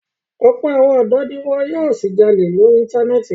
Ọ̀pọ̀ àwọn ọ̀dọ́ ni wọn yóò ṣì jalè lórí Íńtánẹ́ẹ̀tì.